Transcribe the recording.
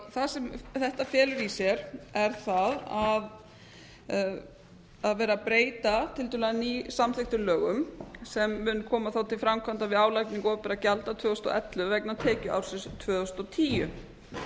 það sem þetta felur í sér er það að það er verið að breyta tiltölulega nýsamþykktum lögum sem munu koma þá til framkvæmda við álagningu opinberra gjalda tvö þúsund og ellefu vegna tekjuársins tvö þúsund og tíu